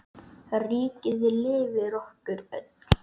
Ríkið lifir okkur öll.